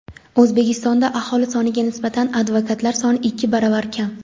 O‘zbekistonda aholi soniga nisbatan advokatlar soni ikki baravarga kam.